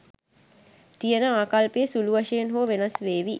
තියෙන ආකල්පය සුළු වශයෙන් හෝ වෙනස් වේවි.